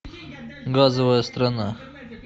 газовая страна